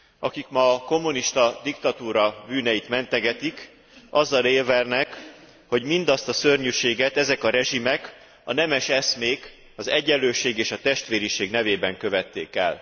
Akik ma a kommunista diktatúra bűneit mentegetik, azzal érvelnek, hogy mindazt a szörnyűséget ezek a rezsimek a nemes eszmék, az egyenlőség és a testvériség nevében követték el.